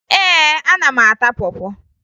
Ee, ana m ata pọ pọ